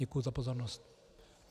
Děkuji za pozornost.